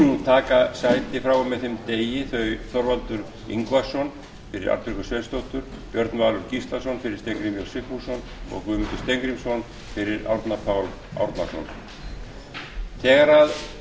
taka sæti frá og með þeim degi þau þorvaldur ingvason fyrir arnbjörgu sveinsdóttur björn valur gíslason fyrir steingrím j sigfússon og guðmundur steingrímsson fyrir árna pál árnason þegar